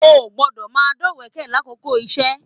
O gbọdọ máa dọ̀wẹ̀kẹ̀ l'akoko iṣẹ!